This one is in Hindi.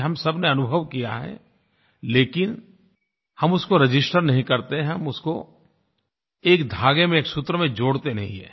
ये हम सबने अनुभव किया है लेकिन हम उसको रजिस्टर नहीं करते हैं हम उसको एक धागे में एक सूत्र में जोड़ते नहीं हैं